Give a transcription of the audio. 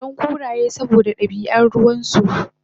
inatsoron kuraye saboda dabian ruwansu